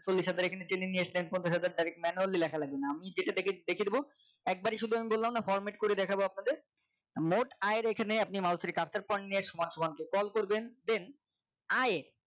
চলিস হাজার এ Training এটা নিয়েছেন পঞ্চাশ তারিক manually লেখা লাগবে না আমি যেটা দেখে লিখে দেবো একবারে শুধু বললাম না format করে দেখাবো আপনাদের মোট আয়ের এখানে আপনি Mouse এর cursor point নিয়ে সমান সমান scroll করবেন then আয়